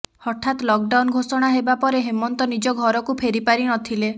ହଠାତ ଲକଡାଉନ ଘୋଷଣା ହେବା ପରେ ହେମନ୍ତ ନିଜ ଘରକୁ ଫେରି ପାରି ନଥିଲେ